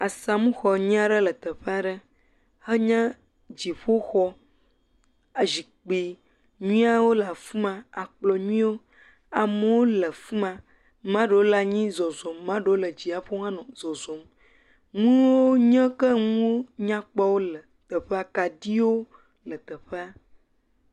Asamxɔ nyuie aɖe le teƒ'a 'ɖe, enye dziƒoxɔ, zikpi nyuiewo le afima akplɔ nyuitɔ amewo le fima. 'maɖewo le anyi le zɔzɔ 'maɖewo le dziaƒo hã nɔ zɔzɔ, nuo nye ke nuo nyakpɔ le teƒea. Kaɖio le teƒea.